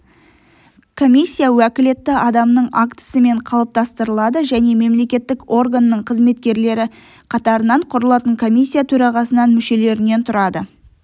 комиссия уәкілетті адамның актісімен қалыптастырылады және мемлекеттік органның қызметкерлері қатарынан құрылатын комиссия төрағасынан мүшелерінен тұрады